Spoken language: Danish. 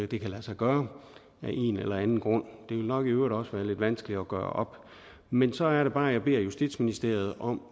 det kan lade sig gøre af en eller anden grund det vil nok i øvrigt også være lidt vanskeligt at gøre op men så er det bare jeg beder justitsministeriet om